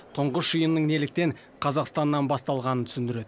тұңғыш жиынның неліктен қазақстаннан басталғанын түсіндіреді